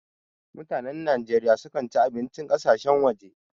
Mutanan Najeriya sukan ci abincin ƙasashen waje.